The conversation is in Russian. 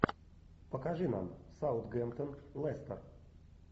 покажи нам саутгемптон лестер